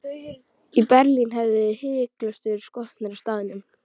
Í Berlín hefðuð þið hiklaust verið skotnir á staðnum.